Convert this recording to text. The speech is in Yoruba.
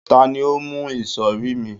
ta ni o mu isori mi